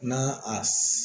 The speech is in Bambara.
Na a s